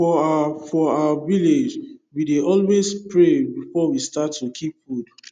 for our for our village we dey always pray before we start to keep food